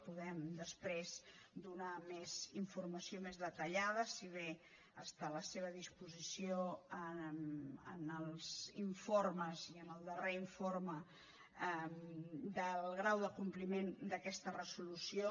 podem després donar més informació més detallada si bé està a la seva disposició en els informes i en el darrer informe del grau de compliment d’aquesta resolució